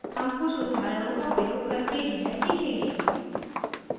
हम कुछ उदाहरणों का प्रयोग करके यह सीखेंगे